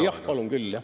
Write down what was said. Jah, palun küll jah.